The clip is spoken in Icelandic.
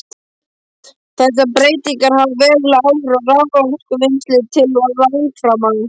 Þessar breytingar hafa veruleg áhrif á raforkuvinnslu til langframa.